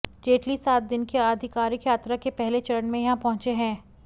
जेटली सात दिन की आधिकारिक यात्रा के पहले चरण में यहां पहुंचे हैं